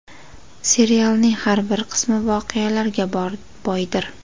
Serialning har bir qismi voqealarga boydir.